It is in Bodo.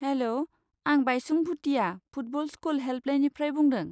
हेल', आं बाइचुं भुटिया फुटबल स्कुल हेल्पलाइनिफ्राय बुंदों।